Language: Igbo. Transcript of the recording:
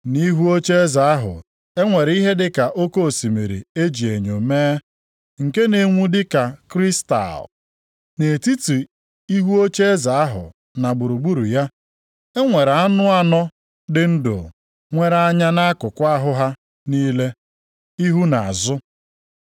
Nʼihu ocheeze ahụ e nwere ihe dịka oke osimiri e ji enyo mee, nke na-enwu dịka kristal. Nʼetiti ihu ocheeze ahụ na gburugburu ya, e nwere anụ anọ dị ndụ nwere anya nʼakụkụ ahụ ha niile, ihu na azụ.